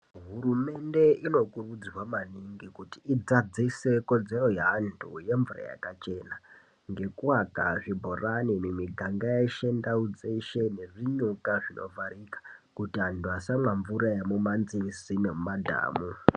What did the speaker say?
Hurumende inokurudzirwa maningi kuti idzadzise kodzero yeantu yemvura yakachena ngekuaka zvibhorani mumiganga yeshe ndau dzeshe nezvinyuka zvinovharika kuti antu asamwa mvura yemumanzizi nemumadhamu.